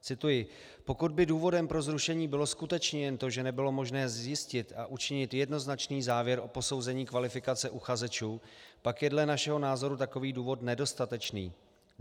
Cituji: "Pokud by důvodem pro zrušení bylo skutečně jen to, že nebylo možné zjistit a učinit jednoznačný závěr o posouzení kvalifikace uchazečů, pak je dle našeho názoru takový důvod nedostatečný.